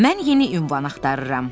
Mən yeni ünvan axtarıram.